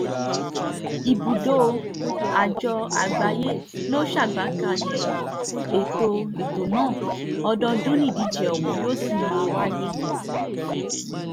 ibùdó àjọ àgbáyé ló ṣàgbékalẹ̀ ètò ètò náà ọdọọdún nídíje ọ̀hún yóò sì máa jẹ́àyè